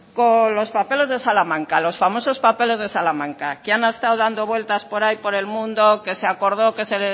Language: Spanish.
con los papeles de salamanca los famosos papeles de salamanca que han estado dando vuelvas por ahí por el mundo que se acordó que se